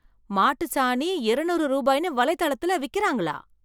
மாட்டுச் சாணி இருநூறு ரூபாய்னு வலைதளத்துல விக்கிறாங்களா?